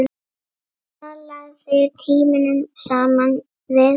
Talaðir tímunum saman við alla.